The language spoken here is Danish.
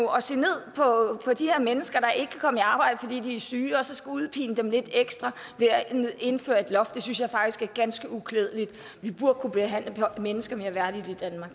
og at se ned på de her mennesker der ikke kan komme i arbejde fordi de er syge så at skulle udpine dem lidt ekstra ved at indføre et loft det synes jeg faktisk er ganske uklædeligt vi burde kunne behandle mennesker mere værdigt